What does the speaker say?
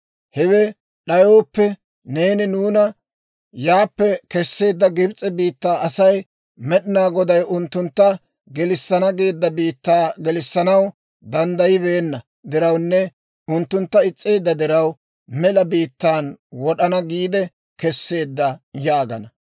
Hewe d'ayooppe, neeni nuuna yaappe Kesseedda Gibs'e biittaa asay, «Med'inaa Goday unttuntta gelissana geedda biittaa gelissanaw danddayibeenna dirawunne unttuntta is's'eedda diraw, mela biittaan wod'ana giide kesseedda» yaagana.